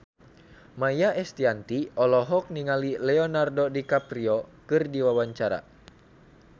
Maia Estianty olohok ningali Leonardo DiCaprio keur diwawancara